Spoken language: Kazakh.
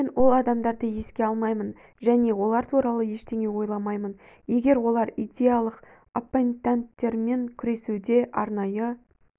мен ол адамдарды еске алмаймын және олар туралы ештеңе ойламаймын егер олар идеялық оппотенттермен күресуде арнайы